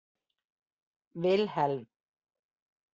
Vilhelm